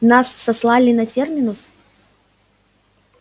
нас сослали на терминус